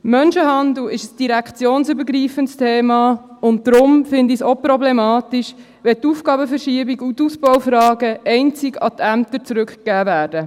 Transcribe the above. Menschenhandel ist ein direktionsübergreifendes Thema, und deshalb finde ich es auch problematisch, wenn die Aufgabenverschiebung und die Ausbaufragen einzig an die Ämter zurückgegeben werden.